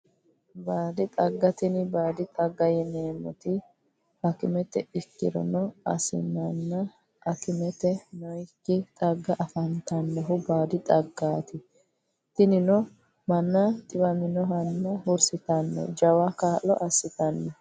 Baadi xagga tini baadi xagga yineemoti hakimete irkono asinana akimete nooyiki xaga afantanohu baadi xagaati tinino manna xiwaminoha hursitano jawa kaalo asitano.